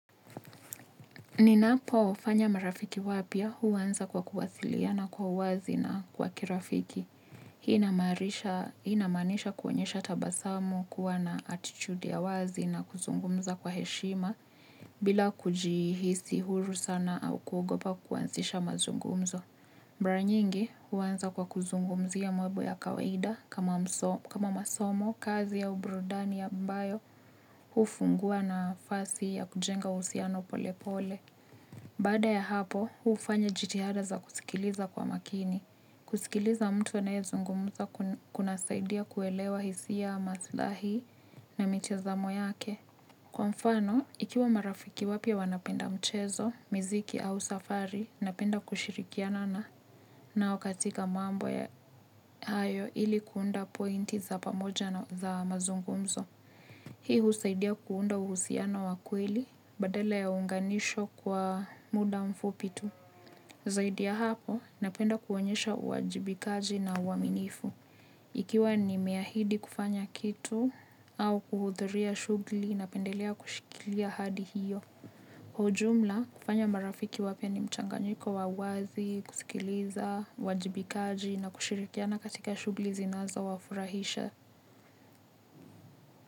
Ninapo fanya marafiki wapya huanza kwa kuwasiliana kwa wazi na kwa kirafiki. Hii ina maanisha kuonyesha tabasamu kuwa na atitude ya wazi na kuzungumza kwa heshima bila kujihisi huru sana au kuogopa kuansisha mazungumzo. Mara nyingi huanza kwa kuzungumzia mambo ya kawaida kama mso kama masomo kazi au burudani ambayo hufungua nafasi ya kujenga uhusiano pole pole. Baada ya hapo huufanya jitihada za kusikiliza kwa makini. Kusikiliza mtu anaye zungumza kuna saidia kuelewa hisia maslahi na mitazamo yake. Kwa mfano ikiwa marafiki wapya wanapenda mchezo miziki au safari napenda kushirikiana na nao katika mambo ya hayo ili kuunda pointi za pamoja na za mazungumzo. Hii husaidia kuunda uhusiano wa kweli badala ya unganisho kwa muda mfupi tu. Zaidi ya hapo napenda kuonyesha uwajibikaji na uaminifu. Ikiwa nimeahidi kufanya kitu au kuhudhuria shughli napendelea kushikilia hadi hiyo. Ujumla kufanya marafiki wapya ni mchanganyiko wa wazi kusikiliza uwajibikaji na kushirikiana katika shughli zinaza wafurahisha.